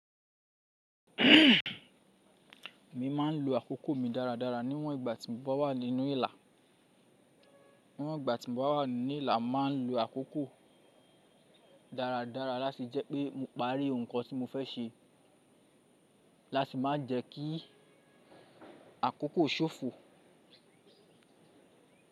Mo ma ń lo àkókò mi dáradára ní àwọn ìgbà tí mo bá wà nínú ilà. Àwọn ìgbà tí mo bá wà nínú ilà, mà ń lo àkókò dáradára láti jẹ́ pé mo parí ohun kan tí mo fẹ́ ṣe, láti má jẹ́ kí àkókò ṣòfò.